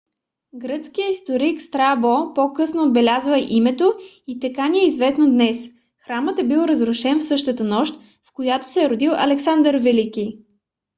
гръцкият историк страбо по-късно отбелязва името и така ни е известно днес. храмът е бил разрушен в същата нощ в която се е родил александър велики